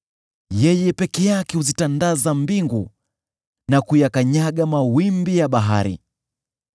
Yeye peke yake huzitandaza mbingu na kuyakanyaga mawimbi ya bahari.